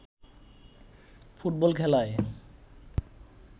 football খেলায়